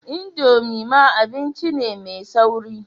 Indomie ma abinci ne mai sauri.